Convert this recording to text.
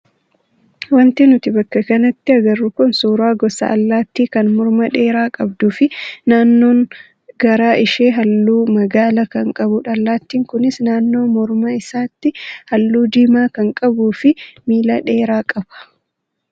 Wanti nuti bakka kanatti agarru kun suuraa gosa allaattii kan morma dheeraa qabduu fi naannoon garaa ishee halluu magaala kan qabudha. Allaattiin kunis naannoo morma isaatti halluu diimaa kan qabuu fi miila dheeraa qaba.